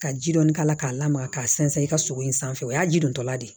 Ka ji dɔɔni k'a la k'a lamaga k'a sɛnsɛn i ka sogo in sanfɛ o y'a ji dontɔla de ye